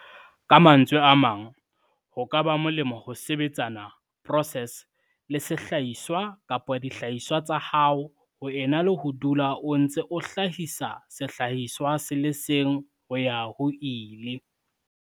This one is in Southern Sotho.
Ka mantswe a mang, ho ka ba molemo ho sebetsana, process, le sehlahiswa kapa dihlahiswa tsa hao ho ena le ho ho dula o ntse o hlahisa sehlahiswa se le seng ho ya ho ile.